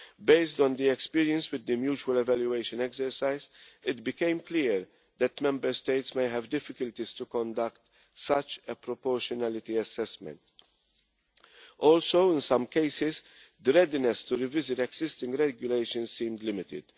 Based on the experience with the mutual evaluation exercise, it became clear that Member States may have difficulties in conducting such a proportionality assessment. Also in some cases the readiness to revisit existing regulations seemed limited.